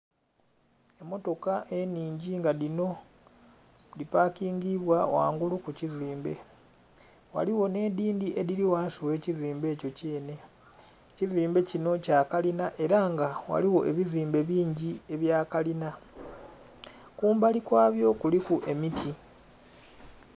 Emmotoka enhingi nga dhinho dhipakingibwa ghangulu kukizimbe ghaligho nhe dhindhi edhili ghansi ghe kizimbe ekyo kyenhe, ekizimbe kyinho kyakalinha era nga ghaligho ebizimbe bingi ebya kalinha, kumbali kwabyo kuliku emiti.